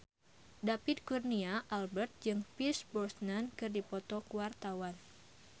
David Kurnia Albert jeung Pierce Brosnan keur dipoto ku wartawan